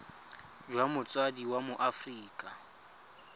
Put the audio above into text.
jwa motsadi wa mo aforika